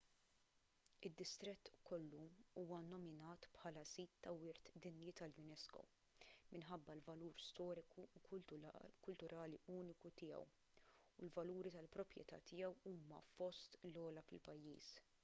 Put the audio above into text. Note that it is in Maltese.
id-distrett kollu huwa nnominat bħal sit ta' wirt dinji tal-unesco minħabba l-valur storiku u kulturali uniku tiegħu u l-valuri tal-proprjetà tiegħu huma fost l-ogħla fil-pajjiż